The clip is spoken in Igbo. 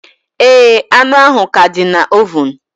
Ee, anụ ahụ ka dị na ovun